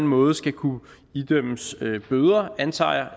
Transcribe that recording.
måde skal kunne idømmes bøder antager